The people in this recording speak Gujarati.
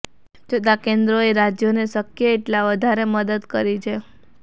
તેમ છતાં કેન્દ્રએ રાજ્યોને શક્ય એટલા વધારે મદદ કરી છે